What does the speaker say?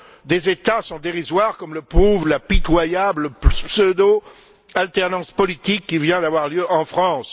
des États sont dérisoires, comme le prouve la pitoyable pseudo alternance politique qui vient d'avoir lieu en France.